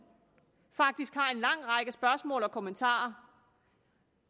faktisk har en lang række spørgsmål og kommentarer